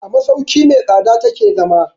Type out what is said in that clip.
A masauki mai tsada ta ke zama.